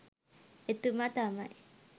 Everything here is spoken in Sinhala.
එතුමා තමයි.